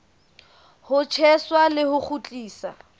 ho tjheswa le ho kgutliswa